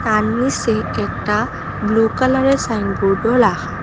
তার নীসে একটা ব্লু কালারের সাইনবোর্ডও লাখা।